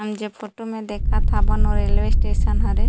हम जो फोटो म देखा थन ओहा रेलवे स्टेशन हरे--